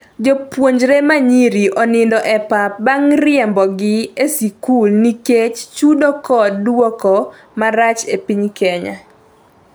Jopuonjre ma nyiri onindo e pap bang' riembogi e skul nikech chudo kod duoko marach e piny Kenya